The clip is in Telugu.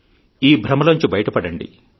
ఈ భ్రమలోంచి బయటపడండి